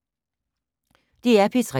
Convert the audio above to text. DR P3